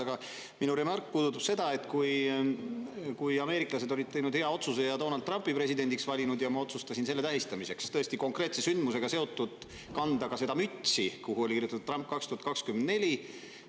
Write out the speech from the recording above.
Aga minu remark puudutab seda, kui ameeriklased olid teinud hea otsuse ja Donald Trumpi presidendiks valinud ning ma otsustasin selle tähistamiseks – tõesti, konkreetse sündmusega seotult – kanda mütsi, kuhu oli kirjutatud "Trump 2024".